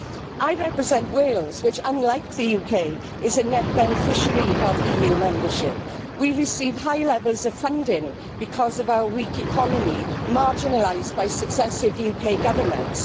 I represent Wales which, unlike the UK, is a net beneficiary of EU membership. We receive high levels of funding because of our weak economy marginalised by successive UK governments.